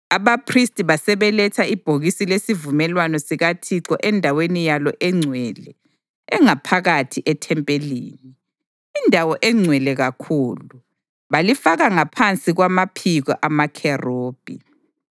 Abaphristi basebeletha ibhokisi lesivumelwano sikaThixo endaweni yalo engcwele engaphakathi ethempelini, iNdawo eNgcwele Kakhulu, balifaka ngaphansi kwamaphiko amakherubhi.